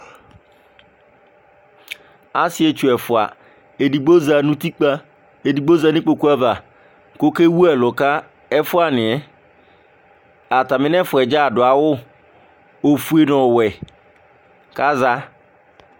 Asɩetsu ɛfʋa, edigbo za nʋ utikpǝ, edigbo za nʋ ikpoku ava kʋ okewu ɛlʋ ka ɛfʋanɩ yɛ, atamɩ nʋ ɛfʋa yɛ dza adʋ awʋ, ofue nʋ ɔwɛ kʋ aza